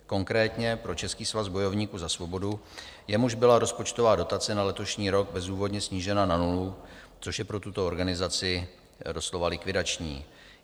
Konkrétně pro Český svaz bojovníků za svobodu, jemuž byla rozpočtová dotace na letošní rok bezdůvodně snížena na nulu, což je pro tuto organizaci doslova likvidační.